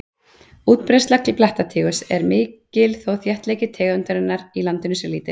Útbreiðsla blettatígurs er mikil þó þéttleiki tegundarinnar í landinu sé lítill.